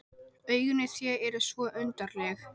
Augun í þér eru svo undarleg.